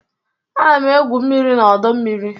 Ana m egwu mmiri na ọdọ mmiri.